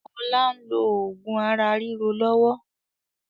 Ọlá n lo oògùn ara ríro lọ́wọ́